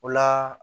O la